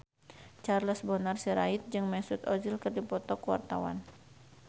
Charles Bonar Sirait jeung Mesut Ozil keur dipoto ku wartawan